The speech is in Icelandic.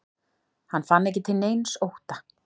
Hann fann ekki til neins ótta.